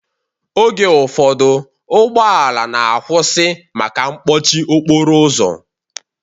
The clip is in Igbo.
Oge ụfọdụ ụgbọala na-akwụsị maka mkpọchi okporo ụzọ